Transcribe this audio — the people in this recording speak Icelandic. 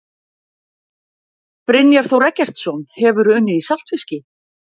Brynjar Þór Eggertsson Hefurðu unnið í saltfiski?